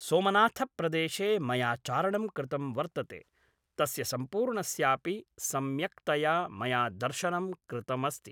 सोमनाथप्रदेशे मया चारणं कृतं वर्तते तस्य सम्पूर्णस्यापि सम्यक्तया मया दर्शनं कृतमस्ति